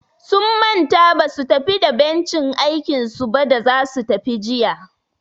Sun manta basu tafi da bencin aikinsu ba da zasu tafi jiya.